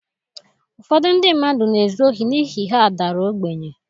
Ụfọdụ ndị mmadụ na-ezu ohi n’ihi ha dara ogbenye.